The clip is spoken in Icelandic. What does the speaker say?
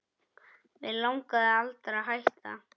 Mig langaði aldrei að hætta